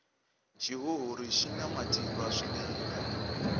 xihuhuri xina matimba swinene